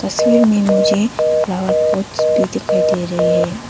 तस्वीर में मुझे फ्लावर पॉट्स भी दिखाई दे रही है।